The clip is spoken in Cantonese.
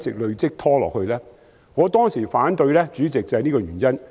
主席，我當時提出反對正是這個原因。